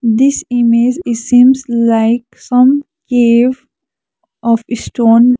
this image is seems like some cave of stone.